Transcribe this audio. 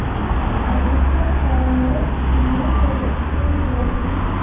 O‘zbekiston fuqarolari Finlyandiyaga ishga yuborilishi mumkin.